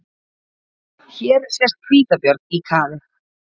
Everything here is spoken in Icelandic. Hér sést hvítabjörn í kafi.